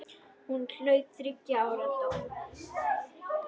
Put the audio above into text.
Hún hlaut þriggja ára dóm.